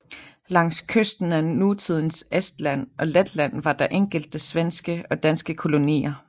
Langs kysten af nutidens Estland og Letland var der enkelte svenske og danske kolonier